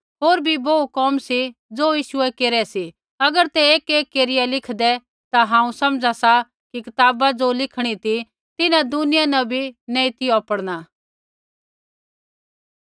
होर बी बोहू कोम सी ज़ो यीशुऐ केरै सी अगर ते एकएक केरिया लिखदे ता हांऊँ समझा सा कि कताबा ज़ो लिखीणी ती तिन्हां दुनिया न बी नैंई ती औपड़ना